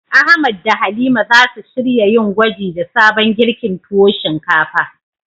Ahmad da Halima zasu shirya yin gwaji da sabon girkin tuwo shinkafa.